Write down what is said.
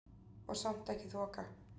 Og samt ekki þoka.